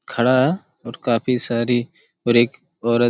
खड़ा और काफी सारी और एक औरत--